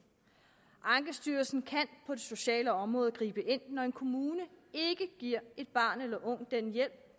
ankestyrelsen kan på det sociale område gribe ind når en kommune ikke giver et barn eller en ung den hjælp